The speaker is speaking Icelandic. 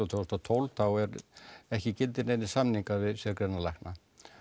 tvö þúsund og tólf þá eru ekki í gildi neinir samningar við sérgreinalækna